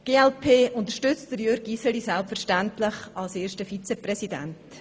Die glp unterstützt Jürg Iseli selbstverständlich als ersten Vizepräsidenten.